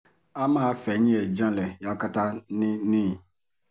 a máa fẹ̀yìn ẹ̀ janlẹ̀ yakata ni ni